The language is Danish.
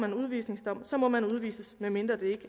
en udvisningsdom må man udvises medmindre det